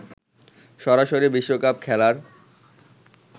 সরাসরি বিশ্বকাপ খেলার